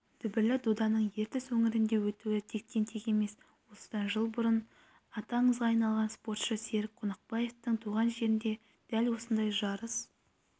дүбірлі доданың ертіс өңірінде өтуі тектен-тек емес осыдан жыл бұрын аты аңызға айналған спортшы серік қонақбаевтың туған жерінде дәл осындай жарыс